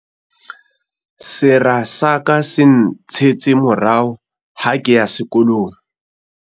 sera sa ka se ntshetse morao ha ke ya sekolong